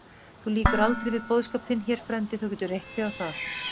Þú lýkur aldrei við boðskap þinn hér, frændi, þú getur reitt þig á það.